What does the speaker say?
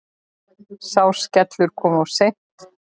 Sá skellur kom of seint.